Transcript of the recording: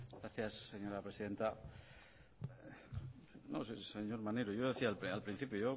gracias señora presidenta señor maneiro yo decía al principio